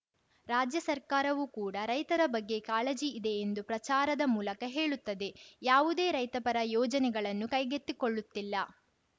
ರಾಜ್ಯ ಸರ್ಕಾರವು ಕೂಡ ರೈತರ ಬಗ್ಗೆ ಕಾಳಜಿ ಇದೆ ಎಂದು ಪ್ರಚಾರದ ಮೂಲಕ ಹೇಳುತ್ತದೆ ಯಾವುದೇ ರೈತಪರ ಯೋಜನೆಗಳನ್ನು ಕೈಗೆತ್ತಿಕೊಳ್ಳುತ್ತಿಲ್ಲ